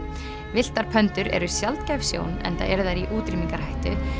villtar eru sjaldgæf sjón enda eru þær í útrýmingarhættu